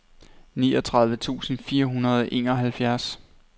niogtredive tusind fire hundrede og enoghalvfjerds